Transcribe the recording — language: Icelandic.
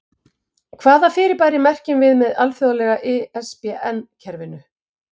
Hvaða fyrirbæri merkjum við með alþjóðlega ISBN-kerfinu?